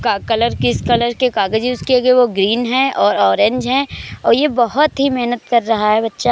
का कलर किस कलर के कागज है उसके आगे वो ग्रीन है और ऑरेंज है और ये बहुत ही मेहनत कर रहा है बच्चा।